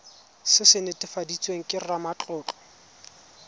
se se netefaditsweng ke ramatlotlo